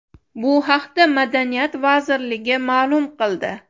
Bu haqda Madaniyat vazirligi ma’lum qildi .